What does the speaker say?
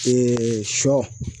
sɔ